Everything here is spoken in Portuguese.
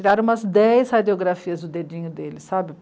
Tiraram umas dez radiografias do dedinho dele, sabe?